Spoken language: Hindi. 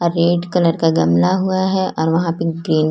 रेड कलर का गमला हुआ है और वहाँ पे ग्रीन --